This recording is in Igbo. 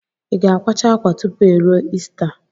I ga-akwacha akwa tupu eruo ista